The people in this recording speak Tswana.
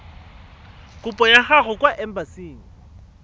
kopo ya gago kwa embasing